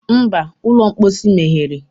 Mba, ụlọ mposi meghere